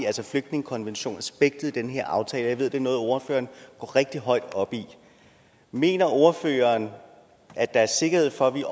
altså flygtningekonventionen i den her aftale jeg ved at det er noget ordføreren går rigtig højt op i mener ordføreren at der er sikkerhed for at vi